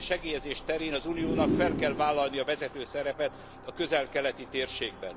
segélyezés terén az uniónak fel kell vállalni a vezető szerepet a közel keleti térségben.